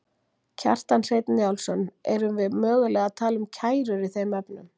Kjartan Hreinn Njálsson: Erum við mögulega að tala um kærur í þeim efnum?